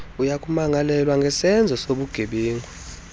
uyakumangalelwa ngesenzo sobugebenga